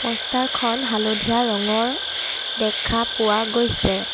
প'ষ্টাৰখন হালধীয়া ৰঙৰ দেখা পোৱা গৈছে।